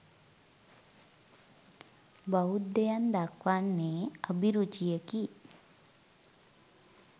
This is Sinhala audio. බෞද්ධයන් දක්වන්නේ අභිරුචියකි.